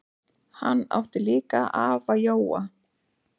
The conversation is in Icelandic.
Hann átti líka afa Jóa.